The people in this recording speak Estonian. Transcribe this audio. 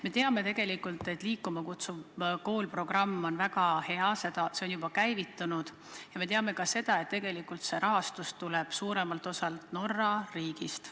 Me teame, et "Liikuma kutsuva kooli" programm on väga hea ja see on juba käivitunud, ja me teame ka seda, et tegelikult selle rahastus tuleb suuremalt osalt Norra riigist.